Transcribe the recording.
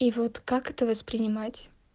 и вот как это воспринимать